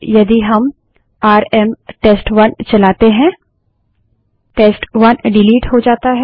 और यदि हम आरएम टेस्ट1 चलाते हैं टेस्ट1 डिलीट हो जाता है